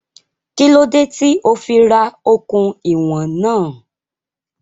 Kí ló dé tí ó fí ra okùn ìwọ̀n náà?